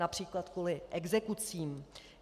Například kvůli exekucím.